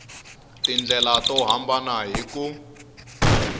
tindlela to hambana hi ku